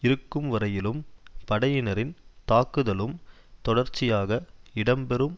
இருக்கும் வரையிலும் படையினரின் தாக்குதலும் தொடர்சியாக இடம்பெறும்